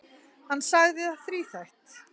Hann sagði það þríþætt.